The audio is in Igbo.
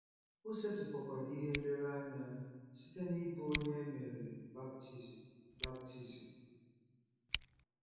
O setịpụkwara ihe nlereanya site n'ịbụ onye e mere baptizim baptizim.